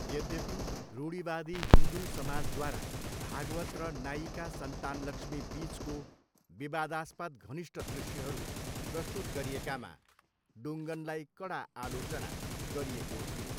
यद्यपि, रूढिवादी हिन्दू समाजद्वारा भागवत र नायिका सन्तानलक्ष्मी बिचको विवादास्पद घनिष्ट दृश्यहरू प्रस्तुत गरिएकामा डुङ्गनलाई कडा आलोचना गरिएको थियो।